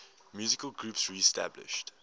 musical groups reestablished